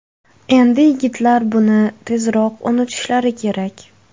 Endi yigitlar buni tezroq unutishlari kerak.